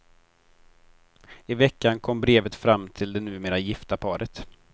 I veckan kom brevet fram till det numera gifta paret.